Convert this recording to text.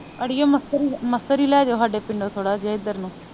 ਅੜੀਏ ਮਸਰ ਈ ਮਸਰ ਈ ਲੈਜੋ ਹਾਜੇ ਪਿੰਡੋ ਥੋੜ੍ਹਾ ਜਿਹਾ ਇਧਰ ਨੂੰ